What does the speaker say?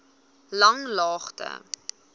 langlaagte